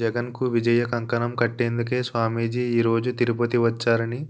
జగన్ కు విజయకంకణం కట్టేందుకే స్వామీజీ ఈ రోజు తిరుపతి వచ్చారని